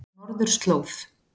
Norðurslóð